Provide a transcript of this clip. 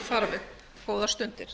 þarfir góðar stundir